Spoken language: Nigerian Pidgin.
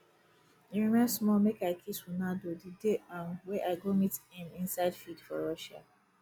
e remain small make i kiss ronaldo the dey um wey i go meet him inside field for russia